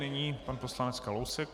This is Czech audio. Nyní pan poslanec Kalousek.